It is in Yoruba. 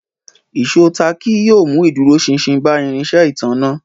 Ìṣó táàkì yóò mú ìdúróṣinṣin bá irinṣẹ́ ìtanná